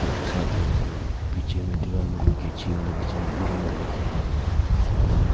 side में और पीछे में दीवार में कैंची वाला डिजाइन ड्राइंग करके है और --